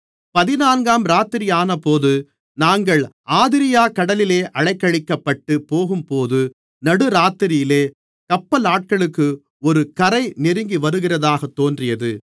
பதினான்காம் இராத்திரியானபோது நாங்கள் ஆதிரியாக் கடலிலே அலைக்கழிக்கப்பட்டுப் போகும்போது நடு இராத்திரியிலே கப்பலாட்களுக்கு ஒரு கரை நெருங்கிவருகிறதாகத் தோன்றியது